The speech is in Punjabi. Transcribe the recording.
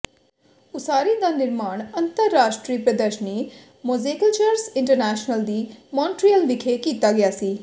ਉਸਾਰੀ ਦਾ ਨਿਰਮਾਣ ਅੰਤਰਰਾਸ਼ਟਰੀ ਪ੍ਰਦਰਸ਼ਨੀ ਮੋਜ਼ੇਕਿਲਚਰਸ ਇੰਟਰਨੈਸ਼ਨਲਜ਼ ਦੀ ਮੌਂਟਰੀਅਲ ਵਿਖੇ ਕੀਤਾ ਗਿਆ ਸੀ